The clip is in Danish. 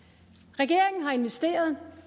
regeringen har investeret